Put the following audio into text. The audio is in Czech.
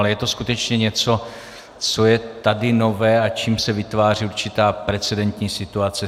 Ale je to skutečně něco, co je tady nové a čím se vytváří určitá precedentní situace.